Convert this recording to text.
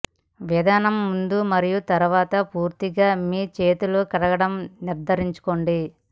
విధానం ముందు మరియు తరువాత పూర్తిగా మీ చేతులు కడగడం నిర్ధారించుకోండి